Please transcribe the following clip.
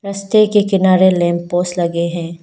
रस्ते के किनारे लैंप पोस्ट लगे हैं।